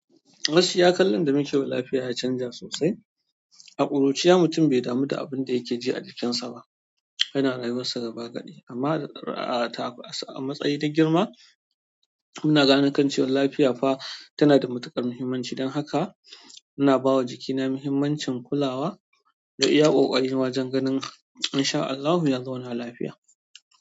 Gaski ya kallan dami kewa lafiya ya canja sosai. A ƙuruciya mutum bai damu da abin da yake ji a jikinsa ba, yana rayuwarsa gaba kaɗai. Amma a matsayin dik girma muna ganin kan cewan lafiya fa tana da matuƙar muhimmanci. Don haka ina bawa jikina muhimmancin kulawa da iya ƙoƙari wajen ganin in sha Allahu yazauna lafiya.